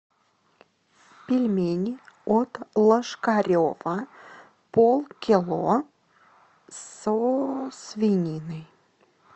пельмени от лошкарева пол кило со свининой